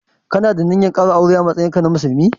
Ka na da ninyar ƙara aure a matsayin ka na musulmi?